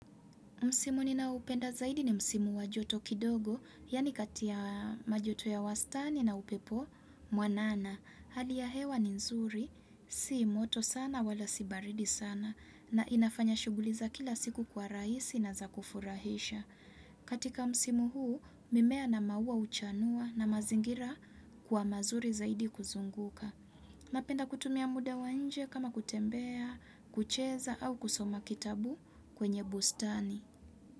Msimu ninaupenda zaidi ni Msimu wa joto kidogo, yani kati ya majoto ya wastani na upepo mwanana. Hali ya hewa ni nzuri, si moto sana wala si baridi sana, na inafanya shuguli za kila siku kwa raisi na za kufurahisha. Katika Msimu huu, mimea na maua uchanua na mazingira kwa mazuri zaidi kuzunguka. Napenda kutumia muda wa nje kama kutembea, kucheza au kusoma kitabu kwenye bustani.